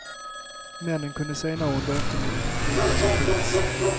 Männen kunde senare under eftermiddagen gripas av polis.